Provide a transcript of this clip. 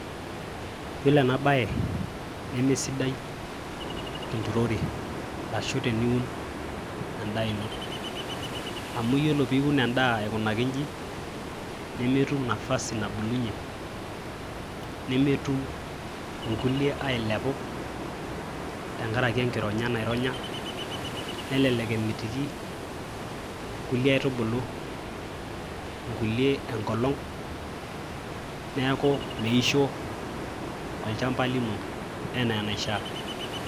Yiolo ena bae neme sidai tenturore ashu teniun endaa ino. Amu iyiolo piun endaa aikunaki inji nemetum nafasi nabulunyie , nemetum inkulie ailepu ,tenkaraki enkironya naironya , nelelek emitiki kulie aitubulu nkulie enkolong , neaku miisho olchamba lino ena enaishiaa.